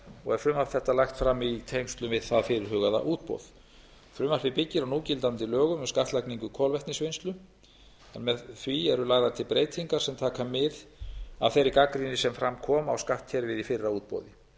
og er frumvarp þetta lagt fram í tengslum við það fyrirhugaða útboð frumvarpið byggir á núgildandi lögum um skattlagningu kolvetnisvinnslu en með því eru lagðar til breytingar sem taka mið af þeirri gagnrýni sem fram kom á skattkerfið í fyrra útboði